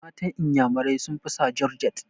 Matan inyamurai sun fi sa jorjet